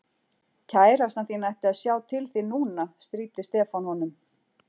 Kærastan þín ætti að sjá til þín núna stríddi Stefán honum.